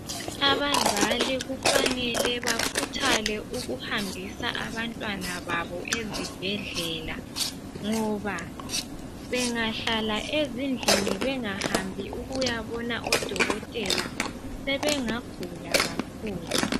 Abazali kufanele bakhuthale ukuhambisa abantwana babo ezibhedlela, ngoba bengahlala ezindlini bengahambi ukuyabona odokotela sebengagula kakhulu.